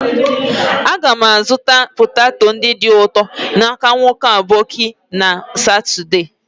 a ga m azutara sweet poteto n'aka nwoke aboki na Saturday.